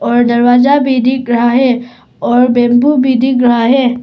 और दरवाजा भी दिख रहा है और बेम्बु भी दिख रहा है।